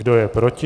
Kdo je proti?